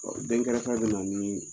dɛnkɛrfɛ bɛ na ni